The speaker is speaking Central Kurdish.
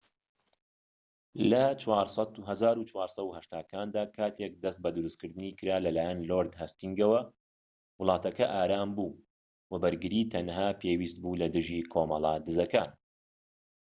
لە ١٤٨٠کاندا، کاتێك دەست بە دروستکردنی کرا لەلایەن لۆرد هەستینگەوە، وڵاتەکە ئارام بوو وە بەرگری تەنها پێویست بوو لەدژی کۆمەڵە دزەکان